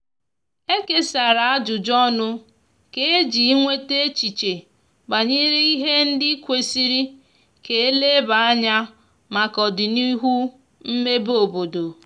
e kesara ajụjụ ọnụ kà eji nweta echiche banyere ihe ndi kwesiri ka eleba anya maka odinihu mmebe obodo